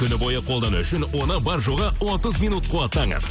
күні бойы қолдану үшін оны бар жоғы отыз минут қуаттаңыз